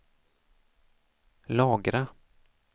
lagra